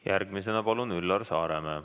Järgmisena palun Üllar Saaremäe.